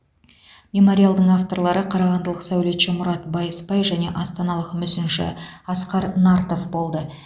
мемориалдың авторлары қарағандылық сәулетші мұрат байысбай және астаналық мүсінші асқар нартов болды